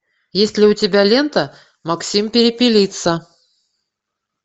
есть ли у тебя лента максим перепелица